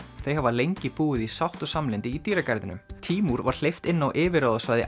þau hafa lengi búið í sátt og samlyndi í dýragarðinum tímúr var hleypt inn á yfirráðasvæði